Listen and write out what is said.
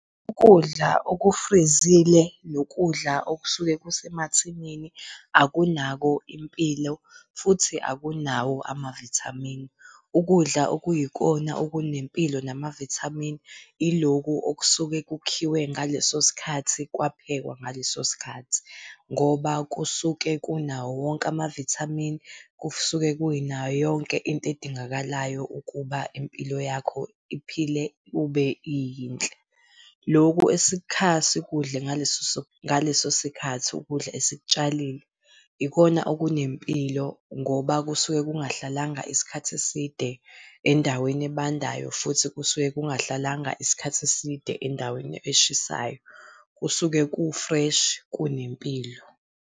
Ukudla okufrizile nokudla okusuke kusemathinini akunako impilo futhi akunawo amavithamini. Ukudla okuyikona okunempilo namavithamini iloku okusuke kukhiwe ngaleso sikhathi kwaphekwa ngaleso sikhathi. Ngoba kusuke kunawo wonke amavithamini, kusuke kunayo yonke into edingakalayo ukuba impilo yakho iphile kube iyinhle. Lokhu esikha sikudle ngaleso sikhathi. ukudla esikutshalile ikhona okunempilo ngoba kusuke kungahlalanga isikhathi eside endaweni ebandayo futhi kusuke kungahlalanga isikhathi eside endaweni eshisayo. Kusuke ku-fresh, kunempilo.